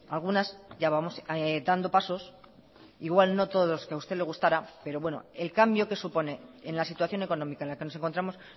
algunas ya vamos dando pasos igual no todos que a usted le gustara pero bueno el cambio que supone en la situación económica en la que nos encontramos